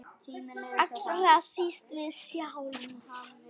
Allra síst við sjálf.